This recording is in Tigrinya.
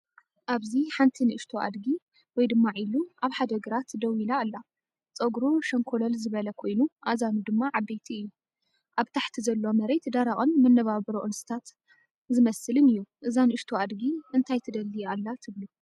ኣብዚ ሓንቲ ንእሽቶ ኣድጊ (ዒሉ)ኣብ ሓደ ግራት ደው ኢላ ኣላ። ጸጉሩ ሸንኮለል ዝበለ ኮይኑ ኣእዛኑ ድማ ዓበይቲ እዩ። ኣብ ታሕቲ ዘሎ መሬት ደረቕን መነባብሮ እንስሳታት ዝመስልን እዩ። እዛ ንእሽቶ ኣድጊ እንታይ ትደሊ ኣላ ትብሉ?